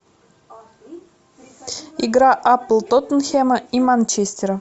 игра апл тоттенхэма и манчестера